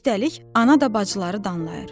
Üstəlik, ana da bacıları danlayır.